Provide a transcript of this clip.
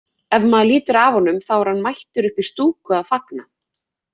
Ef maður lítur af honum þá er hann mættur upp í stúku að fagna.